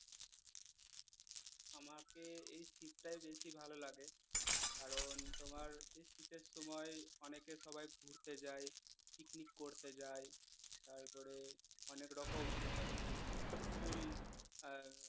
আমাকে এই শীতটায় বেশি ভালো লাগে কারন তোমার এই শীতের সময় অনেকে সবাই ঘুরতে যায় পিকনিক করতে যায় তারপরে অনেক রকমআহ ফুল আহ